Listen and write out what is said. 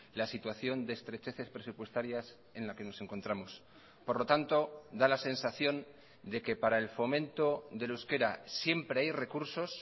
la situación de estrecheces presupuestarias en la que nos encontramos por lo tanto da la sensación de que para el fomento del euskera siempre hay recursos